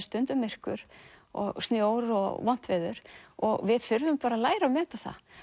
stundum myrkur og snjór og vont veður og við þurfum bara að læra að meta það